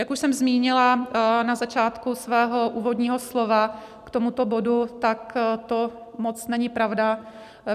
Jak už jsem zmínila na začátku svého úvodního slova k tomuto bodu, tak to moc není pravda.